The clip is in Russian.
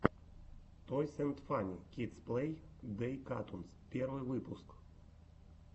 тойс энд фанни кидс плей дей катунс первый выпуск